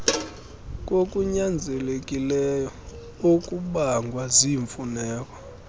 kokunyanzelekileyo okubangwa ziimfuneko